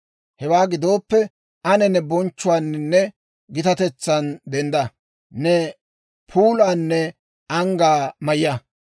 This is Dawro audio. Hewaa gidooppe, ane ne bonchchuwaaninne gitatetsan dendda! Ne puulaanne anggaa mayya!